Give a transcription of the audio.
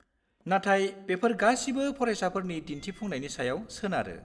नाथाय बेफोर गासिबो फारायसाफोरनि दिन्थिफुंनायनि सायाव सोनारो।